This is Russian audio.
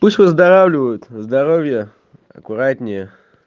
пусть выздоравливают здоровья аккуратнее